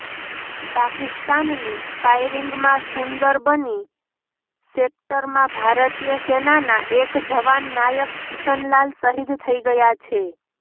પાકિસ્તાની ફાયરિંગમાં સુંદરબની સેક્ટરમાં ભારતીય સેનાના એક જવાન નાયક કિશન લાલ શહીદ થઈ ગયા છે